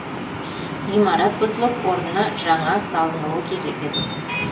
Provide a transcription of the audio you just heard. ғимарат бұзылып орнына жаңас салынуы керек еді